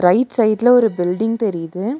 Right சைடுல ஒரு building தெரியிது.